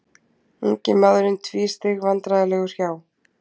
Ungi maðurinn tvísteig vandræðalegur hjá.